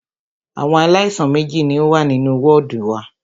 Àwọn aláìsàn méjì ní o wà nínú wọ́ọ̀dù wa.